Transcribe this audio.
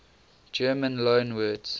german loanwords